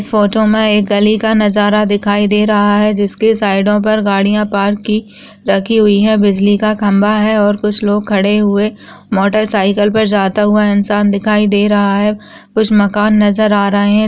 इस फोटो में एक गली का नजारा दिखाई दे रहा है जिसके साइडों पर गाड़ियां पार्क की रखी हुई है बिजली का खंभा है और कुछ लोग खड़े हुए मोटरसाइकिल पर जाता हुआ इंसान दिखाई दे रहा है कुछ मकान नजर आ रहे है।